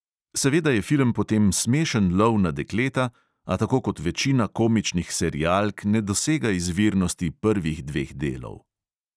Seveda je film potem smešen lov na dekleta, a tako kot večina komičnih serialk ne dosega izvirnosti prvih dveh delov.